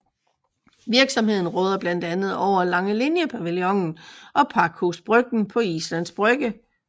Virksomheden råder blandt andet over Langeliniepavillonen og Pakhus Bryggen på Islands Brygge